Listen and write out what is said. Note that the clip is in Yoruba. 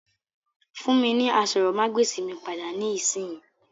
Fún mi ni àsòrọmagbesi mi pada nisinyi!